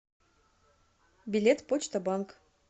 билет почта банк